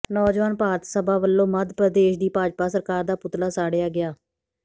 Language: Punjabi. ਨੌਜਵਾਨ ਭਾਰਤ ਸਭਾ ਵਲੋਂ ਮੱਧ ਪ੍ਰਦੇਸ਼ ਦੀ ਭਾਜਪਾ ਸਰਕਾਰ ਦਾ ਪੁਤਲਾ ਸਾੜਿਆ ਗਿਆ